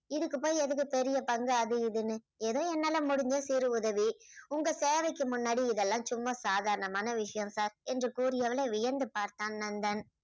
இதுக்கு போய் எதுக்கு பெரிய பங்கு அது இதுன்னு ஏதோ என்னால முடிஞ்ச சிறு உதவி உங்கள் சேவைக்கு முன்னாடி இதெல்லாம் சும்மா சாதாரணமான விஷயம் sir என்று கூறியவளை வியந்து பார்த்தான் நந்தன்